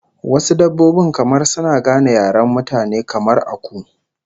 Wasu dabbobin kamar suna gane yaren mutane, kamar aku